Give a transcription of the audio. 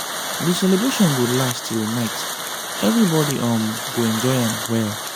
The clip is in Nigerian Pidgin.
di celebration go last till night everybody um go enjoy am well.